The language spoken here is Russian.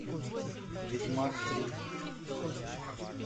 ведьмак три